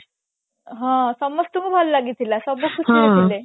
ହଁ ସମସ୍ତଙ୍କୁ ଭଲ ଲାଗିଥିଲା ସବୁ ଖୁସିରେ ଥିଲେ